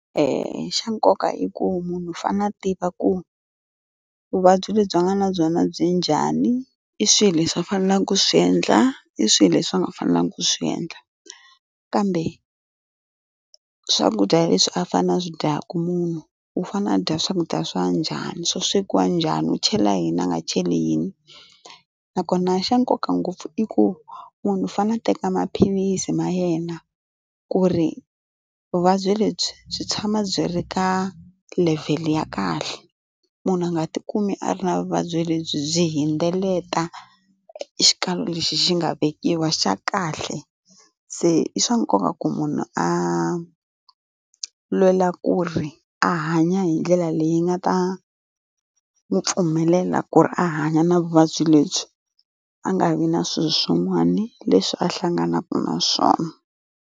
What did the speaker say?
Xa nkoka hi ku u fanele a tiva ku vuvabyi lebyi a nga na byona byi njhani i swilo leswi va faneleke ku swi endla i swilo leswi va nga fanelangiku ku swi endla kambe swakudya leswi a fana a swi dyaka munhu u fanele a dya swakudya swa njhani swo swekiwa njhani u chela yini a nga cheli yini nakona xa nkoka ngopfu i ku munhu u fanele a teka maphilisi ma yena ku ri vuvabyi lebyi byi tshama byi ri ka level ya kahle munhu a nga ti kumi a ri na vuvabyi lebyi byi hundzelela xikalo lexi xi nga vekiwa xa kahle se i swa nkoka ku munhu a lwela ku ri a hanya hi ndlela leyi nga ta n'wi pfumelela ku ri a hanya na vuvabyi lebyi a nga vi na swilo swin'wana leswi a hlanganaka na swona.